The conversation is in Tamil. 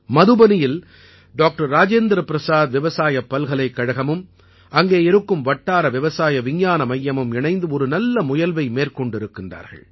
மதுபனியில் டாக்டர்ராஜேந்திரபிரசாத் விவசாயப் பல்கலைக்கழகமும் அங்கே இருக்கும் வட்டார விவசாய விஞ்ஞான மையமும் இணைந்து ஒரு நல்ல முயல்வை மேற்கொண்டிருக்கிறார்கள்